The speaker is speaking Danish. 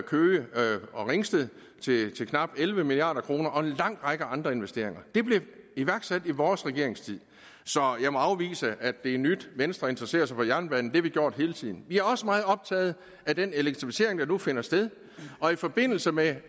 køge ringsted til knap elleve milliard kroner og en lang række andre investeringer blev iværksat i vores regeringstid så jeg må afvise at det er nyt at venstre interesserer sig for jernbanen det har vi gjort hele tiden vi er også meget optaget af den elektrificering der nu finder sted og i forbindelse med